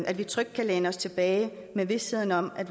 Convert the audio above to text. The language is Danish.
at vi trygt kan læne os tilbage med visheden om at